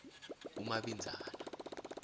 umabinzana